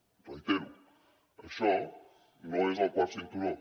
ho reitero això no és el quart cinturó